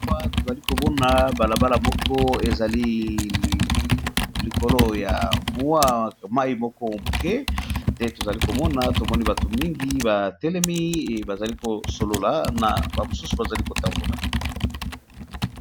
Awa tozali komona balabala moko, ezali likolo ya mayi, tomoni pe batu bazali kosolola